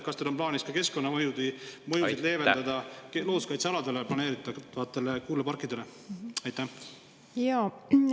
Kas teil on plaanis leevendada ka looduskaitsealadele planeeritavate tuuleparkide keskkonnamõjusid?